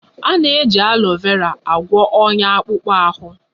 A na-eji alọ vera agwọ onya akpụkpọ ahụ